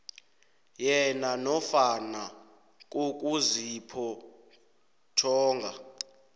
yena nofana kokuziphotjhonga